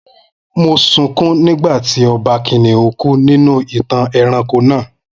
Mo sunkún nígbà tí Ọba kìnnìún kú nínú ìtàn ẹranko náà